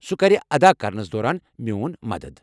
سُہ کرِ ادا کرنس دوران میون مدتھ ۔